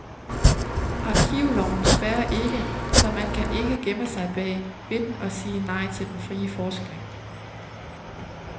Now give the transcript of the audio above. Arkivloven spærrer ikke, så man kan ikke gemme sig bag ved den og sige nej til den frie forskning.